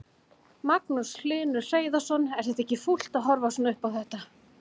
Magnús Hlynur Hreiðarsson: Er þetta ekki fúlt að horfa svona upp á þetta?